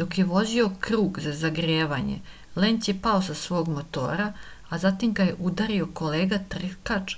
dok je vozio krug za zagrevanje lenc je pao sa svog motora a zatim ga je udario kolega trkač